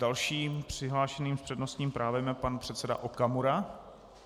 Dalším přihlášeným s přednostním právem je pan předseda Okamura.